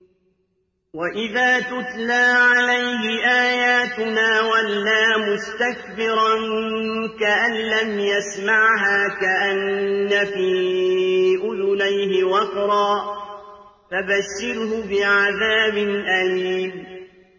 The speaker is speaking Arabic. وَإِذَا تُتْلَىٰ عَلَيْهِ آيَاتُنَا وَلَّىٰ مُسْتَكْبِرًا كَأَن لَّمْ يَسْمَعْهَا كَأَنَّ فِي أُذُنَيْهِ وَقْرًا ۖ فَبَشِّرْهُ بِعَذَابٍ أَلِيمٍ